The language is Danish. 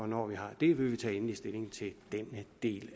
når vi har det vil vi tage endelig stilling til denne del